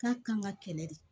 K'a kan ka kɛlɛ de